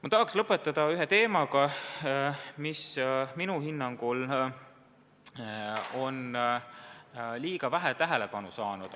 Ma tahan lõpetada ühe teemaga, mis minu hinnangul on liiga vähe tähelepanu saanud.